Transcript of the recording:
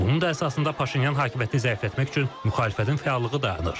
Bunun da əsasında Paşinyan hakimiyyətini zəiflətmək üçün müxalifətin fəallığı dayanır.